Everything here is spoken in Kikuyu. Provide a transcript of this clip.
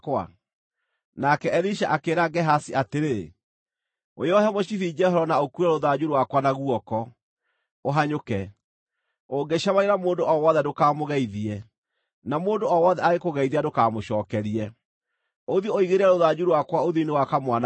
Nake Elisha akĩĩra Gehazi atĩrĩ, “Wĩohe mũcibi njohero na ũkuue rũthanju rwakwa na guoko, ũhanyũke. Ũngĩcemania na mũndũ o wothe ndũkamũgeithie, na mũndũ o wothe angĩkũgeithia ndũkamũcookerie. Ũthiĩ ũigĩrĩre rũthanju rwakwa ũthiũ-inĩ wa kamwana kau.”